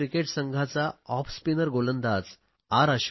भारतीय क्रिकेट संघांचा off spinner गोलंदाज आर